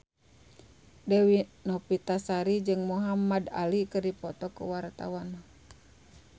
Dewi Novitasari jeung Muhamad Ali keur dipoto ku wartawan